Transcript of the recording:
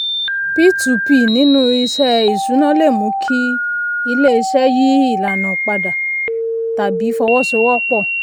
p2p nínú iṣẹ́ ìṣúná le mú kí ilé-iṣẹ́ yí ìlànà padà tàbí fọwọ́sowọ́pọ̀.